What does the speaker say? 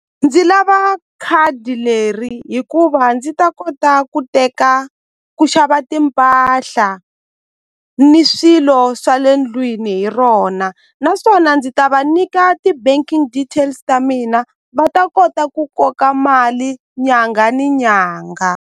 Ndzi lava khadi leri hikuva ndzi ta kota ku teka ku xava timpahla ni swilo swa le ndlwini hi rona naswona ndzi ta va nyika ti banking details ta mina va ta kota ku koka mali nyangha ni nyangha.